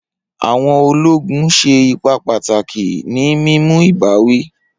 Awọn ologun ṣe ipa pataki ni mimu ibawi.